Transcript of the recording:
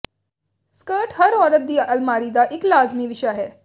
skirt ਹਰ ਔਰਤ ਦੀ ਅਲਮਾਰੀ ਦਾ ਇਕ ਲਾਜ਼ਮੀ ਵਿਸ਼ਾ ਹੈ